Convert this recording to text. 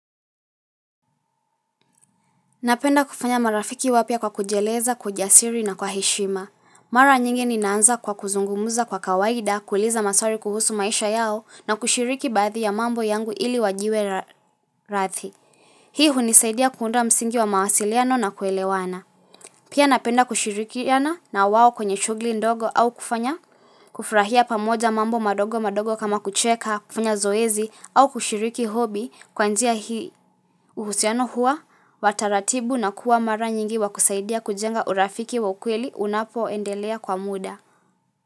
Napenda kufanya marafiki wapya kwa kujieleza, kwa ujasiri na kwa heshima. Mara nyingi ninaanza kwa kuzungumuza kwa kawaida kuuliza maswali kuhusu maisha yao na kushiriki baadhi ya mambo yangu ili wajiwe rathi. Hii hunisaidia kuunda msingi wa mawasiliano na kuelewana. Pia napenda kushirikiana na wao kwenye shughuli ndogo au kufanya kufurahia pamoja mambo madogo madogo kama kucheka kufanya zoezi au kushiriki hobi kwa njia hii uhusiano huwa wa taratibu na kuwa mara nyingi wa kusaidia kujenga urafiki wa ukweli unapoendelea kwa muda.